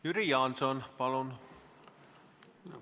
Jüri Jaanson, palun!